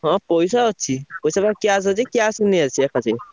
ହଁ ପଇସା ଅଛି। ପଇସା ମୋର cash ଅଛି। cash ରେ ନେଇଆସିବା ।